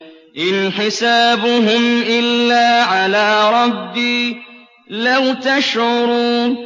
إِنْ حِسَابُهُمْ إِلَّا عَلَىٰ رَبِّي ۖ لَوْ تَشْعُرُونَ